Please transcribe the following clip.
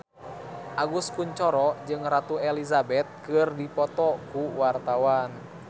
Agus Kuncoro jeung Ratu Elizabeth keur dipoto ku wartawan